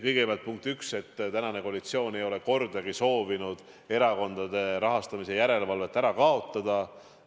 Kõigepealt, punkt üks, praegune koalitsioon ei ole kordagi soovinud erakondade rahastamise järelevalvet ära kaotada.